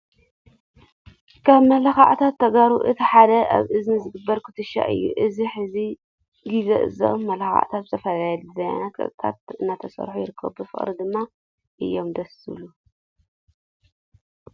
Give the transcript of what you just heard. ካብ መመላኽዕታት ተጋሩ እቲ ሓደ ኣብ እዝኒ ዝግበር ኩትቻ እዩ። ኣብዚ ሕዚ ግዘ እዞም መመላኺዒታት ብዝተፈላለዩ ድዛይናትን ቅርፅታትን እናተስርሑ ይረከቡ። ብፍቅሪ ድማ እዮም ደስ ዝብሉ።